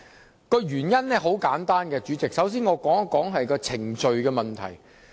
反對的原因很簡單，我首先會討論程序問題。